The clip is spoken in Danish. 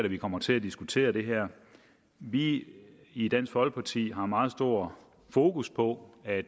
vi kommer til at diskutere det her vi i dansk folkeparti har meget stort fokus på at